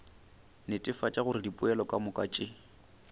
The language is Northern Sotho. netefatša gore dipoelo kamoka tše